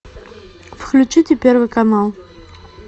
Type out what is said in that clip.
включите первый канал